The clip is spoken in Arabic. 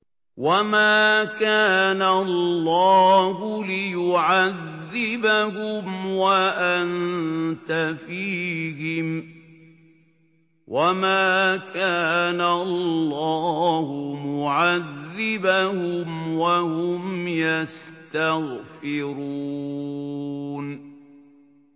وَمَا كَانَ اللَّهُ لِيُعَذِّبَهُمْ وَأَنتَ فِيهِمْ ۚ وَمَا كَانَ اللَّهُ مُعَذِّبَهُمْ وَهُمْ يَسْتَغْفِرُونَ